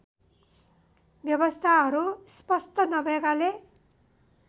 व्यवस्थाहरू स्पष्ट नभएकाले